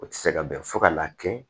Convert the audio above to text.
O tɛ se ka bɛn fo ka n'a kɛ